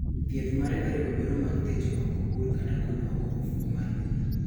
Thieth mare oriwo bero mar thicho oko bur kata golo oko ofuko mar nyuol.